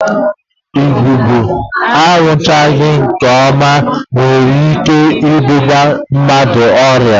Agụba aṅụchaghị nke ọma nwere ike ibunye mmadụ ọrịa